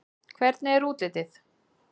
Hvernig er útlitið?